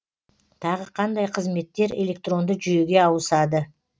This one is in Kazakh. тағы қандай қызметтер электронды жүйеге ауысады